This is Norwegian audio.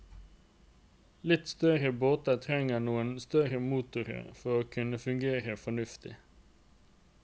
Litt større båter trenger noe større motor for å kunne fungere fornuftig.